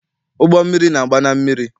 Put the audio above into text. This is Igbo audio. Ụgbọmmiri na-agba na mmiri.